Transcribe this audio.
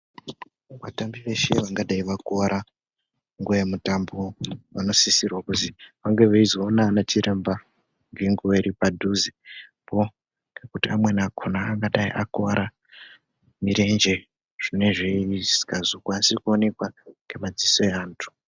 Vatambi veshe vangadai vakuwara nguwa yemutambo vanosisirwa kuzwi vange veizoona anachiremba ngenguwa iripadhuzepo. Ngekuti amweni akona angadai akuwara murenje zvinenge zvisingazokwanisi kuonekwa nemadziso eanhu.